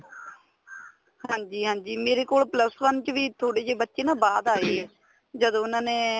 ਹਾਂਜੀ ਹਾਂਜੀ ਮੇਰੇ ਕੋਲ plus one ਚ ਵੀ ਥੋੜੇ ਜੇ ਬੱਚੇ ਨਾ ਬਾਅਦ ਆਏ ਏ ਜਦ ਉਹਨਾ ਨੇ